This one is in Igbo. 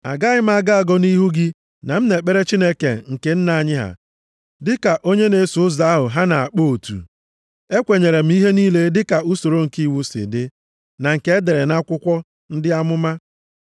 Agaghị m agọ agọ nʼihu gị na m na-ekpere Chineke nke nna anyị ha, dịka onye na-eso Ụzọ ahụ ha na-akpọ otu. Ekwenyere m ihe niile dịka usoro nke iwu si dị, na nke e dere nʼakwụkwọ ndị amụma.